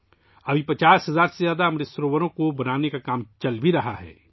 اس وقت 50 ہزار سے زیادہ امرت سروور بنانے کا کام بھی چل رہا ہے